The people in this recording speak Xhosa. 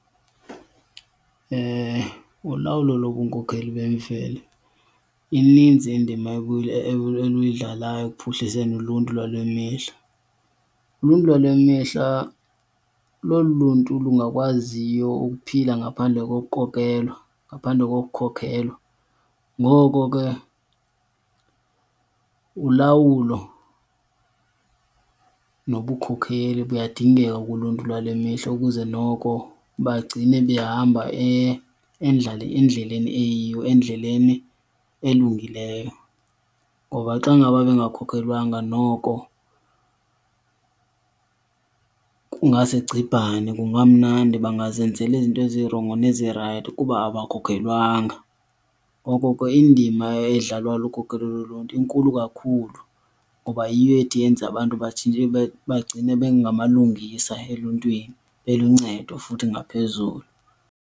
Ulawulo lobunkokheli bemveli ininzi indima eluyidlalayo ekuphuhliseni uluntu lwale mihla. Uluntu lwale mihla lolu luntu lungakwaziyo ukuphila ngaphandle ngokukokelwa, ngaphandle kokukhokelwa, ngoko ke ulawulo nobukhokheli buyadingeka kuluntu lwale mihla ukuze noko bagcine behamba endleleni eyiyo, endleleni elungileyo. Ngoba xa ngaba bengakhokhelwanga noko kungasegcibhane kungamnandi, bangazenzela izinto ezirongo nezirayithi kuba abakhokhelwanga. Ngoko ke indima edlalwa lukhokelo loluntu inkulu kakhulu ngoba yiyo ethi yenze abantu batshintshe bagcine bengemalungisa eluntwini, beluncedo futhi ngaphezulu.